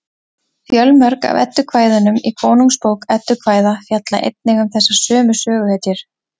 fjölmörg af eddukvæðunum í konungsbók eddukvæða fjalla einnig um þessar sömu söguhetjur